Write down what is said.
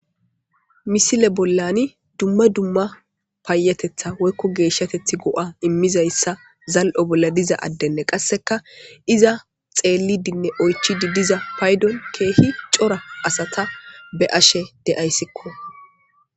misile bollani dumma dumma paayatetha woykko geeshshateth go7a immizayssa zal7o bolla diza addenne qasseka iza xeellidinne oychidi diza paydon keehi cora asata be ashe de7ayssikko